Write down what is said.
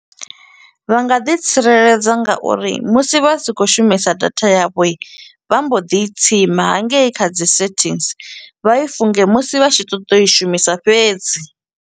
Vha nga ḓi tsireledza ngauri musi vha si khou shumisa data ya vho, vha mbo di i tsima hangei kha dzi settings. Vha i funge musi vha tshi ṱoḓa u i shumisa fhedzi.